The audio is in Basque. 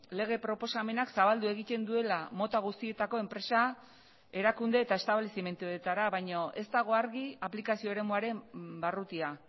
lege proposamenak zabaldu egiten duela mota guztietako enpresa erakunde eta establezimenduetara baino ez dago argi aplikazio eremuaren barrutia